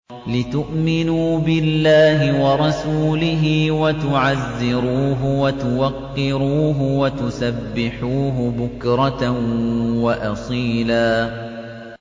لِّتُؤْمِنُوا بِاللَّهِ وَرَسُولِهِ وَتُعَزِّرُوهُ وَتُوَقِّرُوهُ وَتُسَبِّحُوهُ بُكْرَةً وَأَصِيلًا